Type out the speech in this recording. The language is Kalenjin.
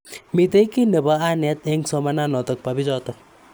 Mitei ki nebo anet eng somananotok bo bichotok.